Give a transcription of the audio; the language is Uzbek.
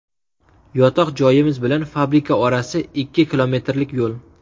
Yotoq joyimiz bilan fabrika orasi ikki kilometrlik yo‘l.